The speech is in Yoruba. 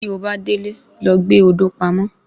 Tí obá délé, lọ gbé odò pamọ́